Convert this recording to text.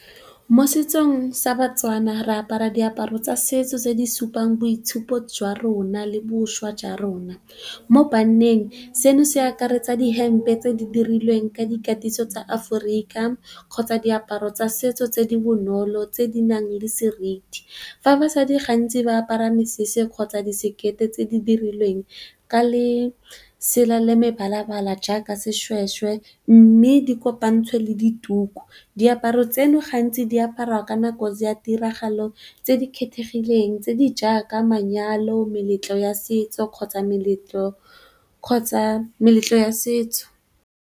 Mo setsong sa batswana re apara diaparo tsa setso tse di supang boitshupo jwa rona le bošwa jwa rona. Mo banneng seno se akaretsa dihempe tse di dirilweng ka dikatiso tsa aforika kgotsa diaparo tsa setso tse di bonolo tse di nang le seriti. Fa basadi gantsi ba apara mesese kgotsa di sekete tse di dirilweng ka le sela le mebalabala jaaka seshweshwe, mme di kopantshwe le dituku. Diaparo tseno gantsi di aparwa ka nako ya tiragalo tse di kgethegileng tse di jaaka manyalo, meletlo ya setso kgotsa meletlo kgotsa meletlo ya setso.